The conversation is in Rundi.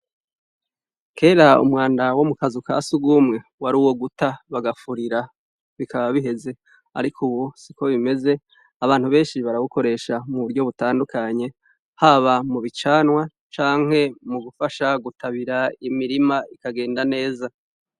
Kera umwanda wo mu kazu ka surwumwe, wari uwo guta bagafurira bikaba biheze. Ariko ubu siko bimeze, abantu benshi barawukoresha mu buryo butandukanye, haba mu bicanwa, canke mu gufasha gutabira imirima, bikagenda neza.